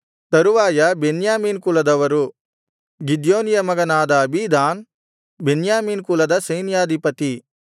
ತರುವಾಯ ಬೆನ್ಯಾಮೀನ ಕುಲದವರು ಗಿದ್ಯೋನಿಯ ಮಗನಾದ ಅಬೀದಾನ್ ಬೆನ್ಯಾಮೀನ ಕುಲದ ಸೈನ್ಯಾಧಿಪತಿ